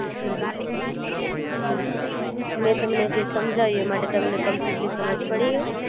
હં હ મે તમને જે સમજાયું એ માટે તમને કમ્પ્લીટલી સમજ પડી ગઈ?